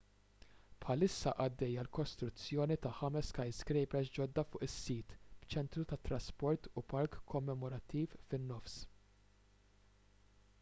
bħalissa għaddejja l-kostruzzjoni ta' ħames skyscrapers ġodda fuq is-sit b'ċentru tat-trasport u park kommemorattiv fin-nofs